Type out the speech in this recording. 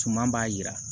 Tuma b'a yira